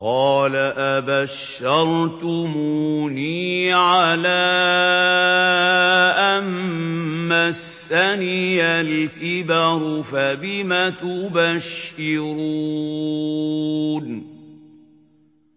قَالَ أَبَشَّرْتُمُونِي عَلَىٰ أَن مَّسَّنِيَ الْكِبَرُ فَبِمَ تُبَشِّرُونَ